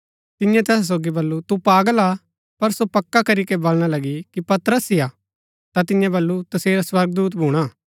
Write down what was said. तिन्ये तैसा सोगी बल्लू तु पागल हा पर सो पक्का करीके बलणा लगी कि पतरस ही हा ता तिन्ये बल्लू तसेरा स्वर्गदूत भूणा